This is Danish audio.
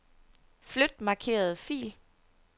Flyt markerede fil.